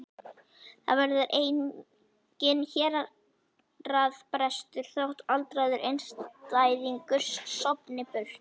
Það verður enginn héraðsbrestur þótt aldraður einstæðingur sofni burt.